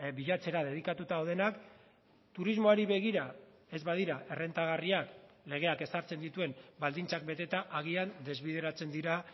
bilatzera dedikatuta daudenak turismoari begira ez badira errentagarriak legeak ezartzen dituen baldintzak beteta agian desbideratzen dira